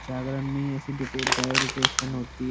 जागरण में ही ऐसी डायोकरैशन होती है।